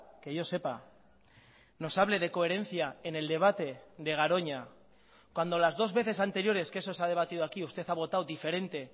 que yo sepa nos hable de coherencia en el debate de garoña cuando las dos veces anteriores que eso se ha debatido aquí usted ha votado diferente